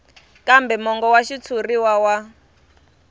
kambe mongo wa xitshuriwa wa